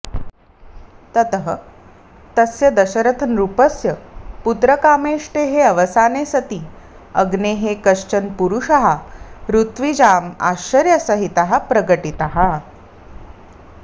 ततः तस्य दशरथनृपस्य पुत्रकामेष्टेः अवसाने सति अग्नेः कश्चन पुरुषः ऋत्विजाम् आश्चर्यसहितः प्रकटितः